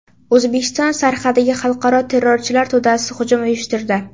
O‘zbekiston sarhadiga xalqaro terrorchilar to‘dasi hujum uyushtirdi.